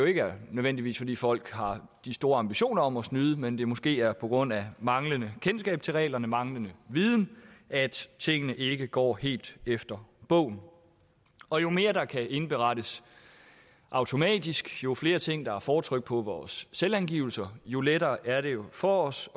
ikke nødvendigvis er fordi folk har de store ambitioner om at snyde men at det måske er på grund af manglende kendskab til reglerne og manglende viden at tingene ikke går helt efter bogen og jo mere der kan indberettes automatisk jo flere ting der er fortrykt på vores selvangivelse jo lettere er det jo for os